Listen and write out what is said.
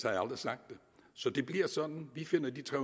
aldrig sagt det så det bliver sådan vi finder de tre